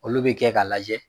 Olu bɛ kɛ k'a lajɛ.